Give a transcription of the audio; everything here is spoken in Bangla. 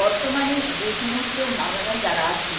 বর্তমানে যে সমস্ত আমরা যারা আছি